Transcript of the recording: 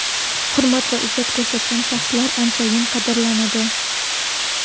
Hurmat va izzat ko‘rsatgan shaxslar anchayin qadrlanadi.